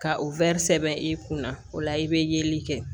Ka o sɛbɛn i kunna o la i bɛ yeli kɛ